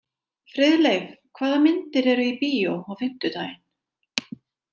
Friðleif, hvaða myndir eru í bíó á fimmtudaginn?